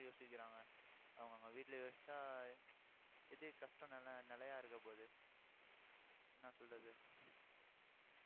யோசிக்கிறாங்க. அவங்க அவங்க வீட்டுல யோசிச்சா எதுக்கு கஷ்டம் நிலை~ நிலையா இருக்கப் போகுது என்ன சொல்றது